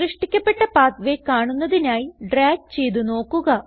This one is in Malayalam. സൃഷ്ടിക്കപ്പെട്ട പാത്വേ കാണുന്നതിനായി ഡ്രാഗ് ചെയ്ത് നോക്കുക